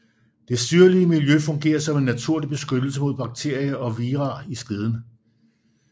Det syrlige miljø fungerer som en naturlig beskyttelse mod bakterier og vira i skeden